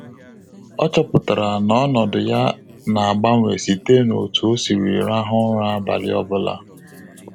Ọ chọpụtara na ọnọdụ ya na agbanwe site na otu o siri rahụ ụra abalị obula